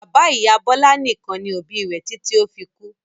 Bàbá-ìyá Bọlá nìkan ni òbí rẹ̀ títí ó fi kú.